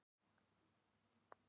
mér þykir fyrir því